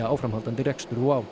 áframhaldandi rekstur